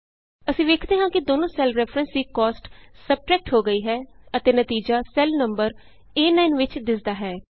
ਅਸੀਂ ਵੇਖਦੇ ਹਾਂ ਕਿ ਦੋਨੋ ਸੈੱਲ ਰੈਫਰੈਂਸ ਦੀ ਕੋਸਟ ਸਬਟਰੈਕਟ ਹੋ ਗਈ ਹੈ ਅਤੇ ਨਤੀਜਾ ਸੈੱਲ ਨੰਬਰ ਏ9 ਵਿਚ ਦਿੱਸਦਾ ਹੈ